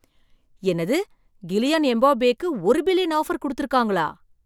என்னது கிலியான் எம்பாப்பேக்கு ஒரு பில்லியன் ஆஃபர் கொடுத்து இருக்காங்களா!